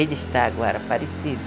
Ele está agora parecido.